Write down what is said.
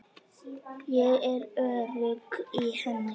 Ég er örugg í henni.